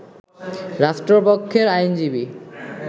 রাষ্ট্রপক্ষের আইনজীবী